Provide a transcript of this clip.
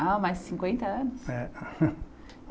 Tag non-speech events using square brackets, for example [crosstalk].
Ah, mas cinquenta anos? É. [laughs]